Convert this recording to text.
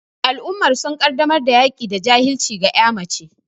Al'ummar sun kaddamar da yaki da jahilci ga ƴa mace